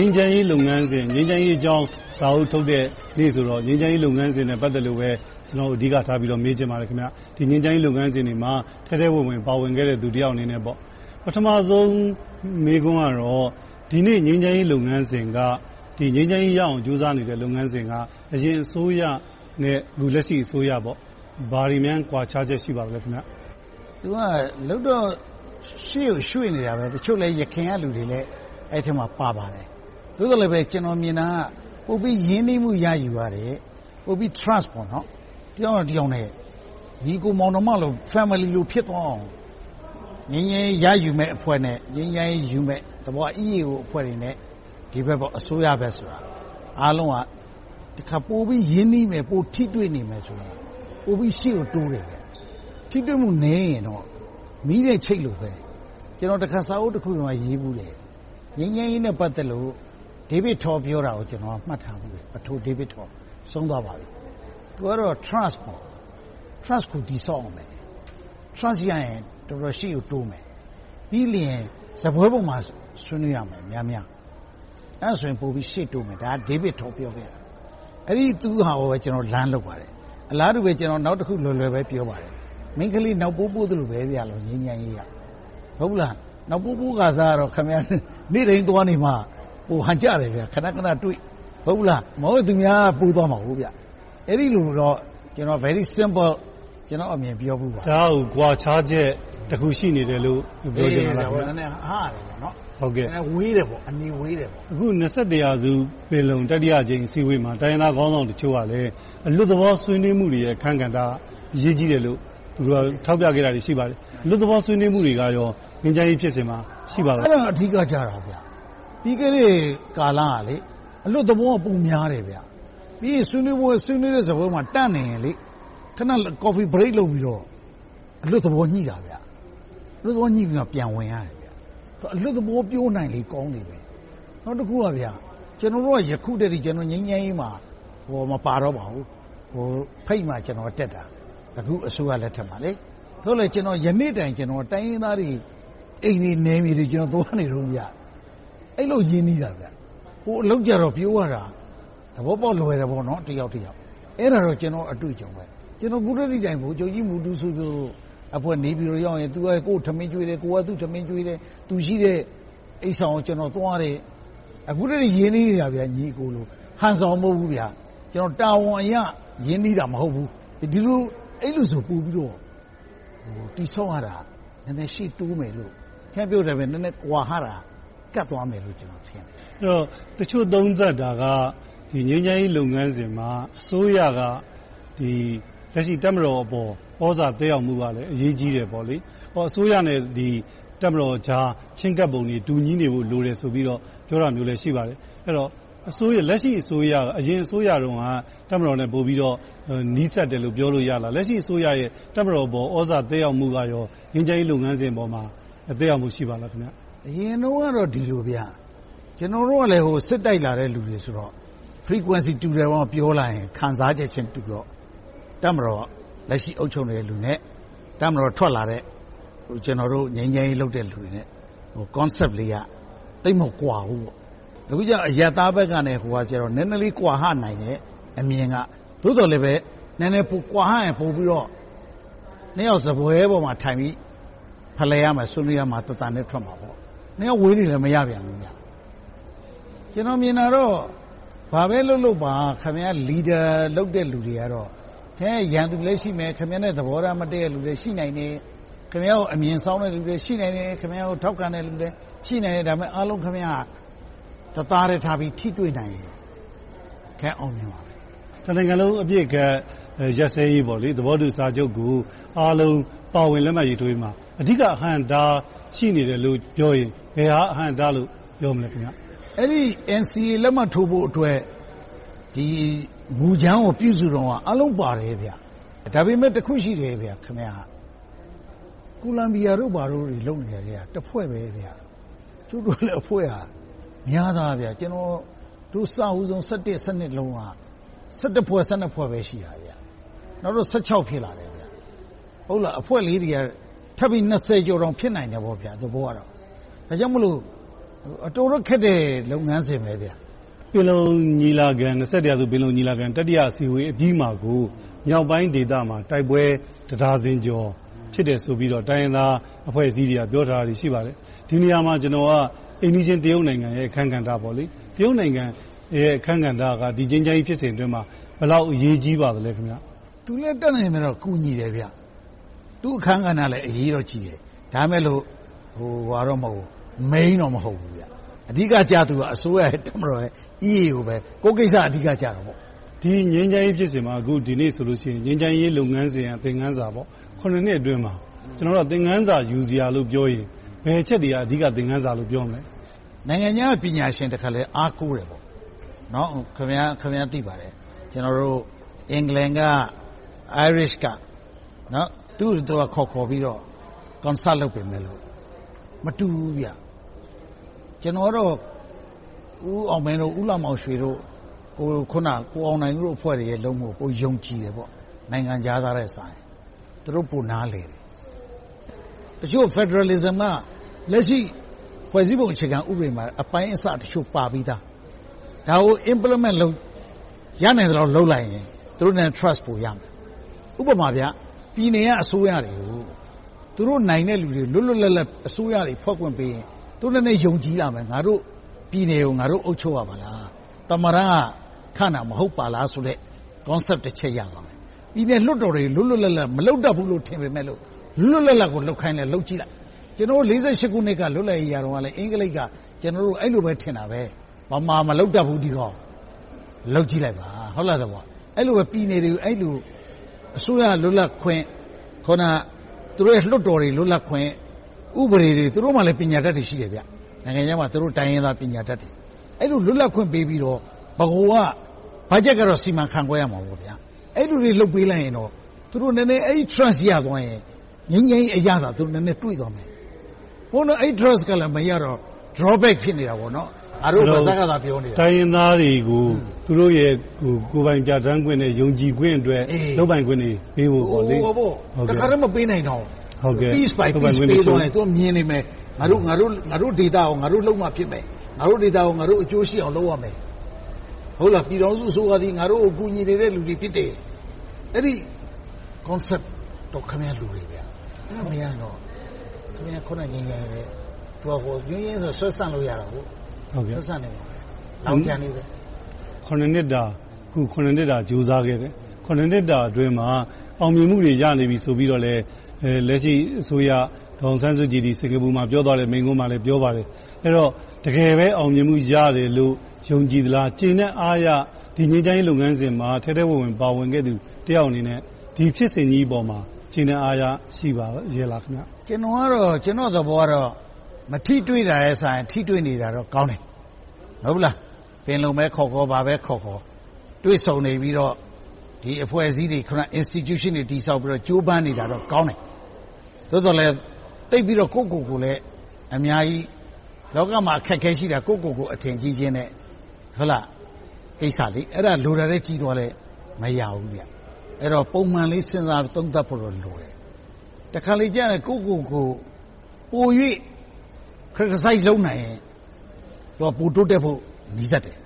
မ်းချမ်းရေးလုပ်ငန်းစဉ် ငြိမ်းချမ်းရေးအကြောင်း စာအုပ်ထုတ်တဲ့နေ့ဆိုတော့ ငြိမ်းချမ်းရေးလုပ်ငန်းစဉ်နဲ့ ပတ်သက်လို့ပဲ အဓိကထား မေးချင်ပါတယ်။ ငြိမ်းချမ်းရေးလုပ်ငန်းစဉ်တွေမှာ ထဲထဲဝင်ဝင် ပါဝင်ခဲ့တဲ့ လူတယောက်အနေနဲ့ ပထမဦးဆုံး မေးခွန်းကတော့ ဒီနေ့ ငြိမ်းချမ်းရေးလုပ်ငန်းစဉ်က အရင်အစိုးရနဲ့ လက်ရှိအစိုးရ ဘာတွေများ ကွာခြားချက် ရှိပါသလဲ။ ရှေ့ကိုတော့ ရွှေ့နေတာပဲ။ တချို့လည်း ယခင်ကလူတွေလည်း အဲဒီအထဲမှာ ပါပါတယ်။ သို့သော်လဲ ကျနော်မြင်တာက ပိုပြီးရင်းနှီးမှု ရယူရတယ်။ ပိုပြီးတော့ Trust တယောက်နဲ့တယောက် ညီအကိုမောင်နှမလို Family လို ဖြစ်သွားအောင် ငြိမ်းချမ်းရေးရယူမယ့်အဖွဲ့နဲ့ ငြိမ်းချမ်းရေးယူမယ့် EAO အဖွဲ့တွေနဲ့ ဒီဘက် အစိုးရတို့ ပိုပြီးရင်းနှီးနေမယ်၊ ပိုပြီးထိတွေ့နေမယ်ဆိုရင် ပိုပြီးတော့ ရှေ့ကိုတိုးနိုင်မယ်။ ထိတွေ့မှုနည်းရင်တော့ မီးနဲ့ချိတ်လိုပဲ… ကျနော် စာအုပ်တအုပ်ထဲမှာ ရေးဖူးတယ်။ ငြိမ်းချမ်းရေးနဲ့ ပတ်သက်လို့ ပဒိုဒေဗစ်ထော် ပြောတာကို မှတ်ထားဖူးတယ်။ အခု သူဆုံးသွားပါပြီ။ သူ ပြောတာက Trust ကို တည်ဆောက်ရမယ်။ Trust ရရင် ရှေ့ကို တော်တော်တိုးမယ်။ ပြီးနောက် စားပွဲပေါ်မှာ ဆွေးနွေးရမယ်။ အဲဒါဆို ရှေ့တိုးမယ်.. ဒါက ဒေဗစ်ထော် ပြောခဲ့တာ။ အဲဒီသူ့ဟာကို ကျနော်တို့ Learn လုပ်ပါတယ်။ အလားတူ နောက်တခု လွယ်လွယ်ပဲ ပြောပါတယ်။ ငြိမ်းချမ်းရေးက မိန်းကလေး နောက်ပိုးပိုးသလိုပဲ… နောက်ပိုးပိုးခါစက နေ့တိုင်းသွားနေမှ ဟန်ကျတယ်။ ခဏခဏတွေ့ မဟုတ်ဘူးလား။ အဲဒီလိုမလုပ်ရင် သူများက ပိုးသွားမှာ။ အဲဒီလိုတော့ Very simple ကျနော့်အမြင် ပြောဖူးပါတယ်။ ဒါကတော့ ကွာခြားချက် တစ်ခု ရှိနေတယ်လို့ ပြောချင်တာလား။ အနေဝေးတယ်ပေါ့။ အခု ရာစု ပင်လုံ တတိယအကြိမ် အစည်းအဝေးမှာ တိုင်းရင်းသားခေါင်းဆောင်တချို့က အလွတ်သဘော ဆွေးနွေးမှုတွေ အခန်းကဏ္ဍ အရေးကြီးတယ်လို့ ထောက်ပြခဲ့တာတွေ ရှိပါတယ်။ အလွတ်သဘော ဆွေးနွေးမှုတွေက ငြိမ်းချမ်းရေးဖြစ်စဉ်မှာ ရှိပါသလား။ အဲဒါ အဓိကကျတာ။ ပြီးခဲ့တဲ့ကာလက အလွတ်သဘောက ပိုများတယ်။ ပြီးရင် ဆွေးနွေးတဲ့ စားပွဲမှာ တန့်နေရင်၊ ခဏ Coffee break လုပ်ပြီးတော့ အလွတ်သဘော ညှိနှိုင်းတယ်။ အဲဒီလို အလွတ်သဘောညှိပြီးမှ ပြန်ဝင်ကြတယ်။ အလွတ်သဘော ပြောနိုင်လေ ကောင်းလေ။ နောက်တခုက ကျနော်တို့က ယခုထက်ထိ ငြိမ်းချမ်းရေးမှာ မပါတော့ပါဘူး။ ဖိတ်မှ ကျနော်က တက်တာ။ အခု အစိုးရလက်ထက်မှာ။ သို့သော် ယနေ့တိုင်း တိုင်းရင်းသားတွေ အိမ်တွေ၊ နယ်မြေတွေ သွားနေတုန်း။ အဲဒီလို ရင်းနှီးတာ။ ဟိုအလုပ်ကြတော့ ပြေရတာ သဘောပေါက်လွယ်တယ် တယောက်နဲ့တယောက်။ အဲဒါကတော့ ကျနော့်အတွေ့အကြုံပဲ။ ကျနော်က အခုထက်ထိတိုင်းအောင်… အဖွဲ့ နေပြည်တော်ရောက်ရင် သူက ကိုယ့်ကိုယ် ထမင်းကျွေးတယ်။ ကိုယ်က သူက ထမင်းကျွေးတယ်။ သူရှိတဲ့ အိပ်ဆောင်ကို ကျနော် သွားတယ်။ အခုထက်ထိ ညီအကိုလို ရင်းနှီးနေတာ။ ဟန်ဆောင်မဟုတ်ဘူး။ တာဝန်အရ ရင်းနှီးတာ မဟုတ်ဘူး။ အဲဒီလိုဆို ပိုပြီးတော့ တည်ဆောက်ရတာ နည်းနည်းရှေ့တိုးမယ်လို့ နည်းနည်းကွာဟတာ ကပ်သွားမယ်လို့ ကျနော် ထင်တယ်။ တချို့သုံးသပ်တာက ငြိမ်းချမ်းရေးလုပ်ငန်းစဉ်မှာ အစိုးရက လက်ရှိ တပ်မတော်အပေါ် သြဇာသက်ရောက်မှုကလည်း အရေးကြီးတယ်ပေါ့။ အစိုးရနဲ့ တပ်မတော်ကြား ချဉ်းကပ်ပုံတွေ လိုတယ်ဆိုပြီးတော့ ပြောတာမျိုးလည်း ရှိပါတယ်။ အဲဒီတော့ လက်ရှိအစိုးရနဲ့ အရင်အစိုးရတုန်းက တပ်မတော်နဲ့ ပိုပြီးတော့ နီးစပ်တယ်လို့ ပြောလို့ရလား။ လက်ရှိအစိုးရဲ့ တပ်မတော်ပေါ် သြဇာသက်ရောက်မှုက ငြိမ်းချမ်းရေးလုပ်ငန်းစဉ်ပေါ်မှာ သက်ရောက်မှု ရှိပါသလား။ အရင်တုန်းကတော့ ဒီလိုဗျ.. ကျနော်တို့ကလည်း စစ်တိုက်လာတဲ့လူတွေဆိုတော့ Frenquency တူတယ် ပြောလာရင် ခံစားချက်ချင်းတူတော့ တပ်မတော် လက်ရှိအုပ်ချုပ်နေတဲ့လူနဲ့ တပ်မတော်ကထွက်လာတဲ့ ငြိမ်းချမ်းရေးလုပ်တဲ့ ကျနော်တို့နဲ့ Concept လေးက သိပ်မကွာဘူး။ အခုကြတော့ အရပ်သားဘက်နဲ့ လက်နက်ကိုင်ဆိုတော့ နည်းနည်းလေး ကွာဟနိုင်တဲ့အမြင်က။ သို့သော်လဲပဲ နည်းနည်းကွာဟရင် နှစ်ယောက်စားပွဲပေါ်မှာထိုင်ပြီး ဖလှယ်ရမယ်၊ ဆွေးနွေးရမယ် တသံတည်းထွက်မှာပေါ့။ နှစ်ယောက် ဝေးနေလည်း မရနိုင်ဘူး။ ကျနော်မြင်တာတော့ ဘာပဲလုပ်လုပ် Leader လုပ်တဲ့လူတွေကတော့ ခင်များရဲ့ ရန်သူလည်းရှိမယ်၊ သဘောထားမတည့်တဲ့လူတွေလည်း ရှိနိုင်တယ်။ ခင်များကို အမြင်စောင်းတဲ့လူလည်း ရှိနိုင်တယ်။ ထောက်ခံတဲ့လူလည်း ရှိနိုင်တယ်။ ဒါပေမဲ့ အားလုံးကို ခင်များက တသားတည်းထားပြီး ထိတွေ့နိုင်ရင် အောင်မြင်မှာပဲ။ တနိုင်ငံလုံး အပစ်ခတ်ရပ်စဲရေး သဘောတူစာချုပ်ကို အားလုံးပါဝင်လက်မှတ်ရေးထိုးရေးမှာ အဓိက အဟန့်အတား ရှိနေတယ်လို့ ပြောရင် ဘယ်ဟာက အဟန့့်အတားလို့ ပြောမလဲ။ အဲဒီ NCA လက်မှတ်ထိုးဖို့အတွက် မူကြမ်းကို ပြုစုတုန်းက အားလုံးပါတယ်။ ဒါပေမဲ့ တခုရှိတယ်.. Columbia တို့တွေဘာတွေ လုပ်နေတာက တဖွဲ့တည်း ရှိတယ်။ ကျုပ်တို့မှာ အဖွဲ့တွေက များတယ်။ အစဦးဆုံး ၂၀၁၁-၁၂ တုန်းက ဖွဲ့၊ ဖွဲ့ပဲ ရှိတယ်။ နောက် ဖြစ်လာတယ်။ အဖွဲ့လေးတွေက ကျော်တောင် ဖြစ်လာနိုင်တယ်။ ဒါကြောင့်မို့ တော်တော်လေးတော့ ခက်တဲ့ လုပ်ငန်းစဉ်ဖြစ်တယ်။ ရာစု ပင်လုံညီလာခံ တတိယအစည်းအဝေးအပြီးမှာကို မြောက်ပိုင်းဒေသမှာ တိုက်ပွဲ တစ်ဒါဇင်ကျော် ဖြစ်တယ်ဆိုပြီးတော့ တိုင်းရင်းသားအဖွဲ့အစည်းတွေက ပြောထားတာ ရှိပါတယ်။ ဒီနေရာမှာ အိမ်နီးချင်းတရုတ်နိုင်ငံရဲ့ အခန်းကဏ္ဍက ဒီငြိမ်းချမ်းရေးဖြစ်စဉ်အတွင်းမှာ ဘယ်လောက်အရေးကြီးပါလဲ။ သူလည်း တတ်နိုင်သလောက် ကူညီတယ်။ သူ့အခန်းကဏ္ဍလည်း အရေးတော့ကြီးတယ်။ ဒါပေမဲ့ Main တော့ မဟုတ်ဘူး။ အဓိကကျသူတွေက အစိုးရ၊ တပ်မတော်နဲ့ EAO.. ကိုယ့်ကိစ္စက အဓိကကျတာပေါ့။ ဒီငြိမ်းချမ်းရေးဖြစ်စဉ်မှာ ဒီနေ့ဆိုရင် ငြိမ်းချမ်းရေးလုပ်ငန်းစဉ် သင်ခန်းစာ နှစ်အတွင်းမှာ သင်ခန်းစာ ယူစရာလို့ပြောရင် ဘယ်အချက်တွေက အဓိက သင်ခန်းစာလို့ ပြောမလဲ။ နိုင်ငံခြားက ပညာရှင်တွေက တခါတလေ အားကိုးတယ်။ ခင်များ သိပါတယ်.. England, Irish က သူကို ခေါ်ခေါ်ပြီးတော့ Consult လုပ်ပေးမယ်လို့ မတူဘူး။ ကျနော်ကတော့ ဦးအောင်မင်း၊ ဦးလှမောင်ရွှေတို့ ကိုအောင်နိုင်တို့ အဖွဲ့တွေရဲ့ လုပ်မှုကို ပိုယုံကြည်တယ်။ နိုင်ငံခြားသားထက်စာရင်။ သူတို့ ပိုနားလည်တယ်။ တချို့က Federalism က လက်ရှိ ဖွဲ့စည်းပုံမှာလည်း အပိုင်းအစတချို့ ပါပြီသား။ ဒါကို Implement ရနိုင်သလောက် လုပ်လိုက်ရင် သူတို့နဲ့ Trust ပိုရမယ်။ ဥပမာ ပြည်နယ်က အစိုးရတွေကို သူတို့နိုင်တဲ့လူတွေကို လွတ်လွတ်လပ်လပ် အစိုးရတွေ ဖွဲ့ခွင့်ပေးရင် သူတို့လည်း နည်းနည်းယုံကြည်လာမယ်။ ငါတို့ ပြည်နယ်ကို ငါတို့ အုပ်ချုပ်ရပါလား။ သမ္မတက ခန့်တာ မဟုတ်ပါလားဆိုတဲ့ Concept တချက် ရသွားမယ်။ ပြည်နယ်လွှတ်တော်တွေကို လွတ်လွတ်လပ်လပ် မလုပ်တတ်ဘူးလို့ ထင်ပေမယ့်လို့ လွတ်လွတ်လပ်လပ်ကို လုပ်ခိုင်းကြည့်လိုက် ကျနော်တို့ ၁၉၄၈ ခုနှစ်တုန်းက လွတ်လပ်ရေး ရတုန်းကလည်း အင်္ဂလိပ်က ကျနော်တို့ကို အဲဒီလိုပဲ ထင်တယ်။ ဗမာ မလုပ်တတ်ဘူး ဒီကောင်။ လုပ်ကြည့်လိုက်ပါ။ အဲဒီလို ပြည်နယ်တွေကို အစိုးရက လွတ်လပ်ခွင့်.. အခုန သူတို့ရဲ့ လွှတ်တော်တွေ လွတ်လပ်ခွင့် ဥပဒေတွေ.. သူတို့မှာလည်း ပညာတတ်တွေ ရှိတယ်။ နိုင်ငံခြားမှာ သူတို့ တိုင်းရင်းသားပညာတတ်တွေ။ အဲဒီလို လွတ်လပ်ခွင့် ပေးပြီးတော့ ဗဟိုက ဘတ်ဂျက်ကတော့ စီမံခန့်ခွဲရမှာပေါ့… အဲဒီလိုလေး လုပ်ပေးလိုက်ရင်တော့ သူတို့ နည်းနည်း အဲဒီ Trust ရသွားရင်၊ ငြိမ်းချမ်းရေးအရသာကို သူတို့ နည်းနည်းတွေ့သွားမယ်။ အခု အဲဒီ Trust ကလည်း မရတော့ Drawback ဖြစ်နေတာပေါ့။ တိုင်းရင်းသားတွေကို သူတို့ရဲ့ ကိုယ်ပိုင်ပြဌာန်းခွင့်နဲ့ ယုံကြည်ခွင့်အတွက် လုပ်ပိုင်ခွင့်တွေပေးဖို့ပေါ့။ တခါတည်း မပေးနိုင်တောင် Piece by piece ပေးသွားရင် သူတို့က မြင်နေမယ်… ငါတို့ဒေသကို ငါတို့လုပ်မှဖြစ်မယ်။ ငါတို့ဒေသကို ငါတို့ အကျိုးရှိအောင် လုပ်ရမယ်။ ပြည်ထောင်စုအစိုးရသည် ငါတို့ကို ကူညီနေတဲ့လူတွေ ဖြစ်တယ်။ အဲဒီ Concept တော့ ခင်များ လိုတယ်။ ငြိမ်းချမ်းရေးက ဆွဲဆန့်လိုရတယ်။ ဆွဲ့ဆန်နိုင်ပါတယ်။ နှစ်တာ ကြိုးစားခဲ့တဲ့ ဒီကာလအတွင်းမှာ အောင်မြင်မှုတွေ ရနေပြီဆိုပြီးတော့လဲ လက်ရှိအစိုးရ ဒေါ်အောင်ဆန်းစုကြည် စင်္ကာပူမှာ ပြောသွားတဲ့ မိန့်ခွန်းမှာလည်း ပြောသွားပါတယ်။ အဲဒီတော့ တကယ်ပဲ အောင်မြင်မှု ရတယ်လို့ ယုံကြည်သလား။ ကျေနပ်အားရ ဒီငြိမ်းချမ်းရေး လုပ်ငန်းစဉ်မှာ ထဲထဲဝင်ဝင် ပါဝင်ခဲ့သူ တယောက်အနေနဲ့ ဒီဖြစ်စဉ်ကြီးပေါ်မှာ ကျေနပ်အားရမှု ရှိပါရဲ့လား။ ကျနော်သဘောကတော့ မထိတွေ့တာနဲ့စာရင် ထိတွေ့နေတာတော့ ကောင်းတယ်။ ပင်လုံပဲခေါ်ခေါ် ဘာပဲခေါ်ခေါ် တွေ့ဆုံနေပြီးတော့ ဒီအဖွဲ့အစည်းတွေ Institution တွေ တည်ဆောက်ပြီးတော့ ကြိုးပမ်းနေတာတွေ ကောင်းတယ်။ သို့သော်လဲ သိပ်ပြီးတော့ ကိုယ့်ကိုယ်ကိုလည်း အများကြီး… လောကမှာ အခက်အခဲရှိတာ ကိုယ့်ကိုယ်ကို အထင်ကြီးခြင်းကိစ္စ။ အဲဒါ လိုတာထက် ကြီးသွားလို့ မရဘူး။ အဲဒါ ပုံမှန်လေး စဉ်းစားသုံးသပ်ဖို့ လိုတယ်။ တခါတလေကျရင် ကိုယ့်ကိုယ်ကို ပို၍ criticize လုပ်နိုင်ရင် ပိုတိုးတက်ဖို့ နီးစပ်တယ်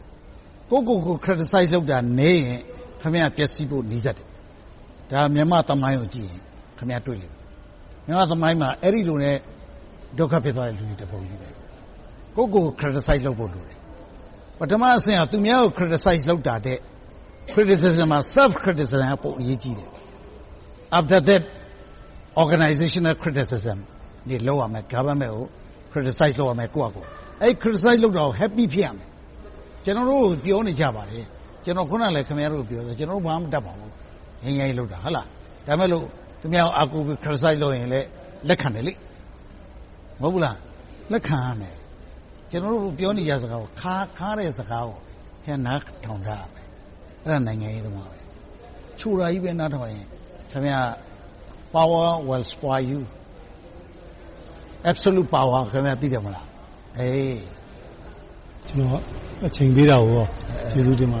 ။ ကိုယ့်ကိုယ်ကို criticize လုပ်တာနည်းရင် ခင်များ ပျက်စီးဖို့ နီးစပ်တယ်။ ဒါက မြန်မာ့သမိုင်းကိုကြည့်ရင် တွေ့လိမ့်မယ်။ မြန်မာ့သမိုင်းမှာ အဲဒီလိုနဲ့ ဒုက္ခဖြစ်သွားတဲ့လူတွေ တပုံကြီး။ ကိုယ့်ကိုယ်ကို criticize လုပ်ဖို့ လိုတယ်။ ပထမအဆင့်က သူများကို criticize လုပ်တာထက် Criticism မှာ Self-criticism က ပိုအရေးကြီးတယ်။ After that organizational criticism လုပ်ရမယ်။ Government ကို criticize လုပ်ရမယ်။ အဲဒီလို criticize လုပ်တာကို Happy ဖြစ်ရမယ်။ ကျနော်တို့ကို ပြောနေကြပါတယ်.. အခုနလဲ ခင်များကို ပြောတယ်.. ကျနော်တို့ ငြိမ်းချမ်းရေးလုပ်တာ ဘာမှမတတ်ပါဘူး။ ဒါပေမဲ့ သူများကို အားကိုးပြီး criticizeလုပ်ရင်လဲ လက်ခံတယ်။ လက်ခံရမယ်။ ကျနော်တို့ ပြောတဲ့စကား ခါးတဲ့စကားကို နားထောင်တတ်ရမယ်။ အဲဒါ နိုင်ငံရေးသမားပဲ။ ချိုတာကြီးပဲ နားထောင်ရင် Power will spoil you.. Absolute power ကို သိတယ်မဟုတ်လား။ ဒီလို အချိန်ပေးတာကို ကျေးဇူးတင်ပါတယ